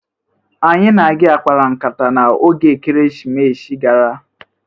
Anyị na gị akpara nkata n' oge Ekerisimesi gara?